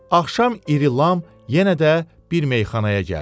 Axşam İrilam yenə də bir meyxanaya gəldi.